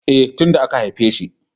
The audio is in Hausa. E, tin da aka haifeshi.